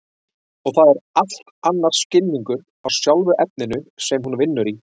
Og það er allt annar skilningur á sjálfu efninu sem hún vinnur í.